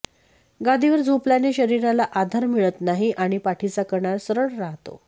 गादीवर झोपल्याने शरीराला आधार मिळत नाही आणि पाठीचा कणा सरळ राहतो